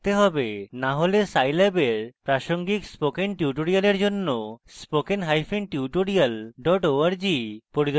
না হলে scilab এর প্রাসঙ্গিক spoken tutorials জন্য spoken hyphen tutorial dot org পরিদর্শন করুন